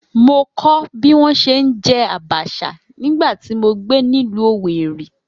Mo kọ́ bí wọ́n ṣe ń jẹ abacha nígbà tí mo gbé nílùú Owerri